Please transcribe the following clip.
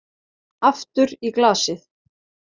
Aftur í glasið.